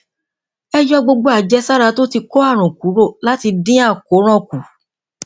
ẹ yọ gbogbo àjẹsára tó ti kó àrùn kúrò láti dín àkóràn kù